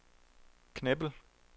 Knebel